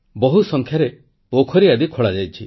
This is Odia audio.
ବହୁ ସଂଖ୍ୟାରେ ପୋଖରୀ ଆଦି ଖୋଳାଯାଇଛି